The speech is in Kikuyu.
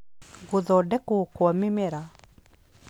Gũthondekwo kwa mĩmera